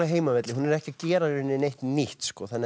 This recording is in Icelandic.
heimavelli hún er ekki að gera í rauninni neitt nýtt